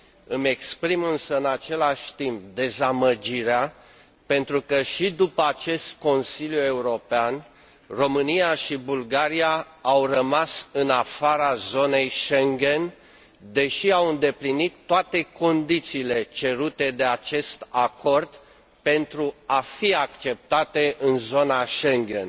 Îmi exprim, însă, în același timp, dezamăgirea, pentru că, și după acest Consiliu European, România și Bulgaria au rămas în afara zonei Schengen, deși au îndeplinit toate condițiile cerute de acest acord pentru a fi acceptate în zona Schengen.